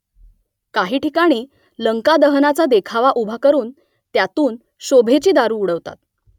काही ठिकाणी लंकादहनाचा देखावा उभा करून त्यातून शोभेची दारू उडवतात